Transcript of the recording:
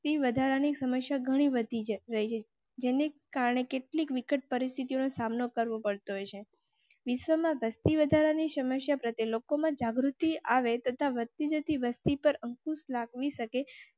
વસ્તી વધારા ની સમસ્યા ઘણી વધી રહી જેને કારણે કેટલીક વિકટ પરિસ્થિતિ નો સામ નો કરવો પડ્યો છે. વિશ્વમાં વસ્તીવધારા ની સમસ્યા પ્રત્યે લોકો માં જાગૃતિ આવે તથા વધ તી જતી વસ્તી પર અંકુશ લાવી શકે